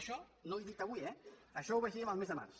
això no ho he dit avui eh això ho vaig dir el mes de març